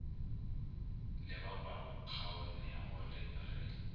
le ba ba kaonego re